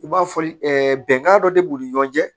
I b'a fɔli bɛnkan dɔ de b'u ni ɲɔgɔn cɛ